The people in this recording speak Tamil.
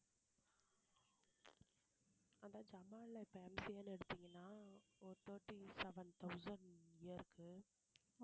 இப்ப MCA ன்னு எடுத்திங்கனா ஒரு thirty seven thousand year க்கு